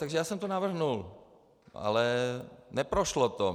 Takže já jsem to navrhl, ale neprošlo to.